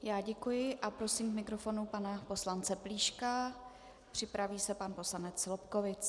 Já děkuji a prosím k mikrofonu pana poslance Plíška, připraví se pan poslanec Lobkowicz.